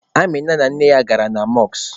Amịna na nne ya gabara na mọskụ.